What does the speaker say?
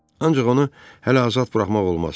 Ancaq onu hələ azad buraxmaq olmaz.